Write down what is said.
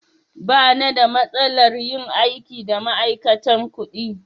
Ba na da matsalar yin aiki da ma'aikatan kuɗi.